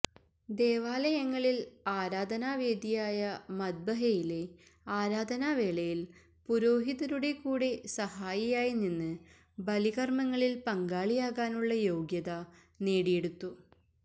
ദേവാലയങ്ങളില് ആരാധനാവേദിയായ മദ്ബഹയിലെ ആരാധനാവേളയില് പുരോഹിതരുടെ കൂടെ സഹായിയായി നിന്ന് ബലികര്മ്മങ്ങളില് പങ്കാളിയാകാനുള്ള യോഗ്യത നേടിയെടുത്തു